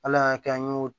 Ala y'a kɛ an y'o